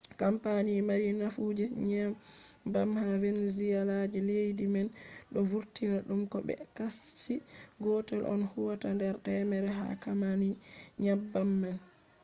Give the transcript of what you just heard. kampani mari nafu je nyebbam ha venezuela je leddi man do vurtina dum ko be kashi gotel on huwata nder temere ha kampani nyebbam man